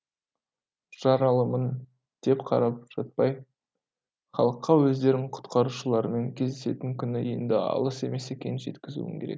жаралымын деп қарап жатпай халыққа өздерін құтқарушылармен кездесетін күні енді алыс емес екенін жеткізуім керек